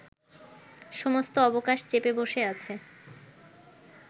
সমস্ত অবকাশ চেপে বসে আছে